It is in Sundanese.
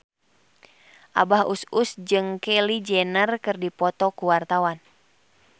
Abah Us Us jeung Kylie Jenner keur dipoto ku wartawan